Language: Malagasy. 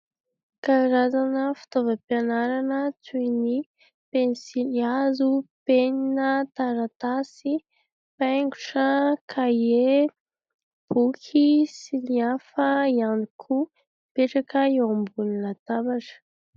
Karazana fitaovam-pianarana toy ny penisilihazo, penina, taratasy, paingotra, kahie, boky sy ny hafa ihany koa mipetraka eo ambonina latabatra.